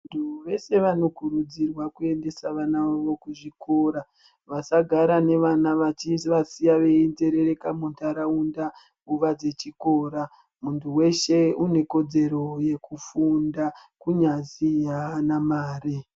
Vantu vese vanokurudzirwa kuendesa vana vavo kuzvikora. Vasagara nevana vachivasiya veinzerereka muntaraunda nguwa dzechikora. Munthu weshe une kodzero yekufunda kunyazi haana mari.